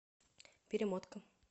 перемотка